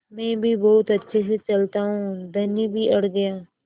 मैं भी बहुत अच्छे से चलता हूँ धनी भी अड़ गया